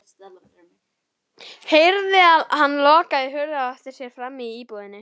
Heyrði að hann lokaði hurð á eftir sér frammi í íbúðinni.